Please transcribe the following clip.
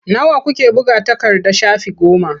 Nawa kuke buga takarda shafi goma.